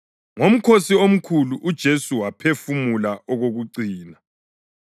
Ngomkhosi omkhulu, uJesu waphefumula okokucina.